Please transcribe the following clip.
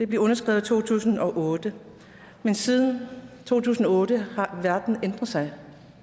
blev underskrevet i to tusind og otte men siden to tusind og otte har verden ændret sig